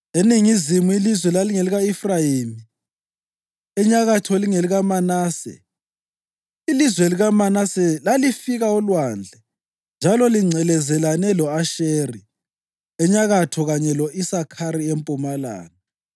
Eningizimu ilizwe lalingelika-Efrayimi, enyakatho lingelikaManase. Ilizwe likaManase lalifika olwandle njalo lingcelezelane lo-Asheri enyakatho kanye lo-Isakhari empumalanga.